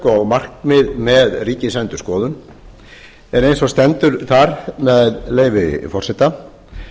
og markmið með ríkisendurskoðun en eins og stendur þar með leyfi forseta